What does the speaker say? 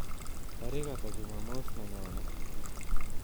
Tarik ata jumamosi nenyone